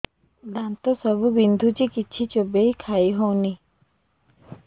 ଦାନ୍ତ ସବୁ ବିନ୍ଧୁଛି କିଛି ଚୋବେଇ ଖାଇ ହଉନି